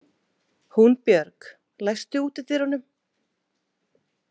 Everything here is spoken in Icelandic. Húnbjörg, læstu útidyrunum.